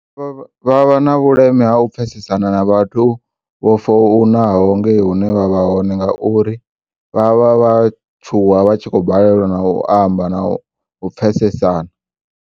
Vha vha na vhuleme ha u pfesesana na vhathu vho founaho ngei hune vha vha hone nga uri vha vha vha tshuwa vha tshi khobalelwa na u u amba na u pfesesana.